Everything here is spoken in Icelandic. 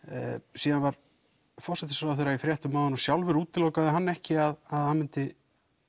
síðan var forsætisráðherra í fréttum áðan og sjálfur útilokaði hann ekki að hann myndi